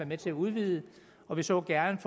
med til at udvide og vi så gerne